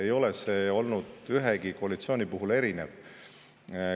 See ei ole olnud ühegi koalitsiooni puhul erinev.